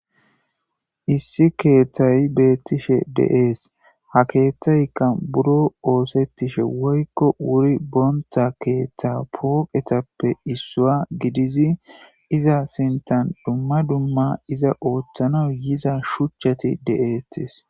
Issi keettay beetishe de'ees ha keettaykka buro ooththettishe woykko wuriboonta keeththa pooqetappe issuwa gidizi iza sinthan dumma dumma iza ooththana yiza shuuchchati de'eettes